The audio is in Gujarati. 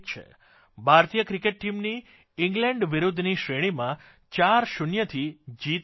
ભારતીય ક્રિકેટ ટીમની ઇંગ્લેન્ડ વિરૂદ્ધની શ્રેણીમાં ચારશૂન્યથી જીત થઇ છે